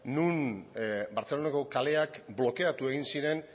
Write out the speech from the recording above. non bartzelonako kaleak blokeatu egin ziren